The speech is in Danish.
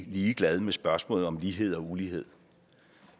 ligeglad med spørgsmålet om lighed og ulighed